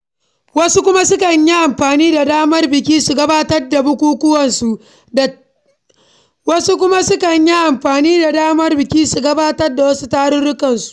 Wasu kuma sukan yi amfani da damar biki su gabatar da wasu bukukuwansu da wasu kuma sukan yi amfani da damar biki su gabatar da wasu tarurrukan.